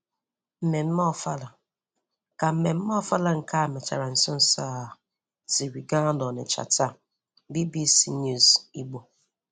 Mmemme Ọfala: Ka mmemme Ọfala nke e mechara nso nso a siri gaa n'Ọnịcha taa - BBC News Ìgbò